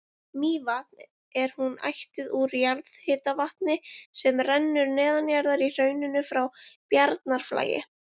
Mývatn er hún ættuð úr jarðhitavatni sem rennur neðanjarðar í hrauninu frá Bjarnarflagi.